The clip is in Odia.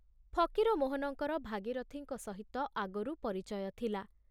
ଫକୀରମୋହନଙ୍କର ଭାଗୀରଥିଙ୍କ ସହିତ ଆଗରୁ ପରିଚୟ ଥିଲା।